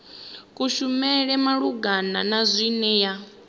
kushumele malugana na zwine ya